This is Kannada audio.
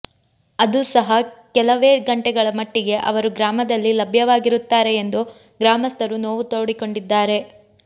ಅದೂ ಸಹ ಕೆಲವೇ ಗಂಟೆಗಳ ಮಟ್ಟಿಗೆ ಅವರು ಗ್ರಾಮದಲ್ಲಿ ಲಭ್ಯವಾಗಿರುತ್ತಾರೆ ಎಂದು ಗ್ರಾಮಸ್ಥರು ನೋವು ತೋಡಿಕೊಂಡಿದ್ದಾರೆ